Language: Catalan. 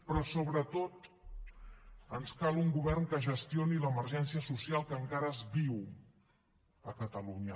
però sobretot ens cal un govern que gestioni l’emergència social que encara es viu a catalunya